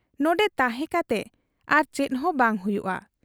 ᱱᱚᱱᱰᱮ ᱛᱟᱦᱮᱸ ᱠᱟᱛᱮ ᱟᱨ ᱪᱮᱫᱦᱚᱸ ᱵᱟᱭ ᱦᱩᱭᱩᱜ ᱟ ᱾